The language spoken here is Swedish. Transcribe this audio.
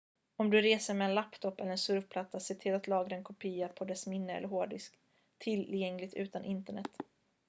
om du reser med en laptop eller en surfplatta se till att lagra en kopia på dess minne eller hårddisk tillgängligt utan internet